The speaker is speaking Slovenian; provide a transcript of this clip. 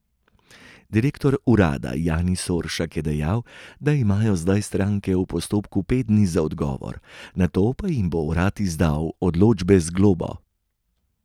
Direktor urada Jani Soršak je dejal, da imajo zdaj stranke v postopku pet dni za odgovor, nato pa jim bo urad izdal odločbe z globo.